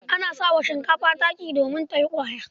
Ana sa wa shinkafa taki yuriya don ta yi ƙwaya.